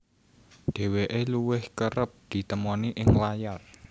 Dheweke luwih kereb ditemoni ing layar